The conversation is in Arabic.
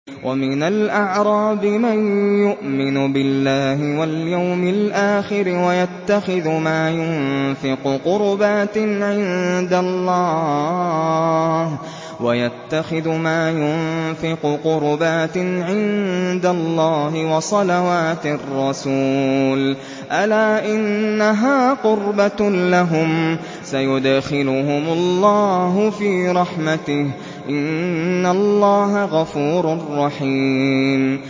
وَمِنَ الْأَعْرَابِ مَن يُؤْمِنُ بِاللَّهِ وَالْيَوْمِ الْآخِرِ وَيَتَّخِذُ مَا يُنفِقُ قُرُبَاتٍ عِندَ اللَّهِ وَصَلَوَاتِ الرَّسُولِ ۚ أَلَا إِنَّهَا قُرْبَةٌ لَّهُمْ ۚ سَيُدْخِلُهُمُ اللَّهُ فِي رَحْمَتِهِ ۗ إِنَّ اللَّهَ غَفُورٌ رَّحِيمٌ